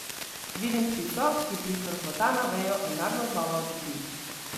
Vidim ptico, ki prifrfota na vejo in naglo znova odleti.